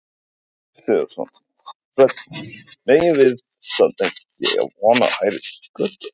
Sindri Sindrason, fréttamaður: Megum við samt ekki eiga von á hærri sköttum?